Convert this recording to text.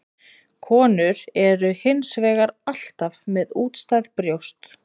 Konur eru hins vegar alltaf með útstæð brjóst.